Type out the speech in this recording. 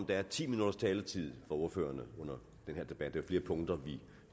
der er ti minutters taletid for ordførerne under den her debat der er punkter vi